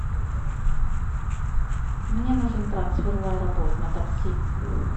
мне нужен трансфер в аэропорт на такси